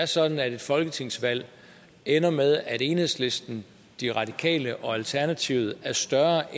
sådan at et folketingsvalg ender med at enhedslisten de radikale og alternativet er større